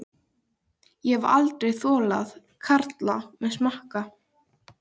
Ég hef aldrei þolað karla sem smakka.